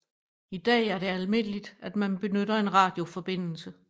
I dag er det almindeligt at man benytter en radioforbindelse